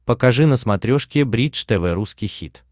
покажи на смотрешке бридж тв русский хит